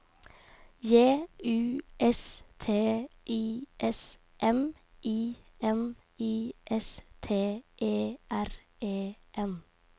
J U S T I S M I N I S T E R E N